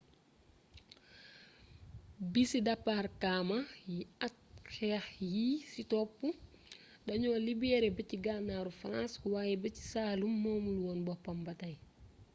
bisi debarkamaa yi ak xeex yi ci topp dañoo libeere bëj-ganaaru farans waaye bëj-saalum moomul woon boppam ba tey